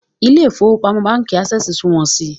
Ilé ìfowópamọ́ Ásẹ̀sì súmọ́ mi